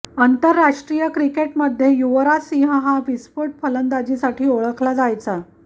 आंतरराष्ट्रीय क्रिकेटमध्ये युवराज सिंह हा विस्फोट फलंदाजीसाठी ओळखला जायचा